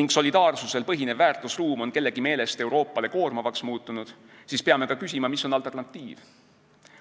ning solidaarsusel põhinev väärtusruum on kellegi meelest Euroopale koormavaks muutunud, siis peame ka küsima, mis on alternatiiv.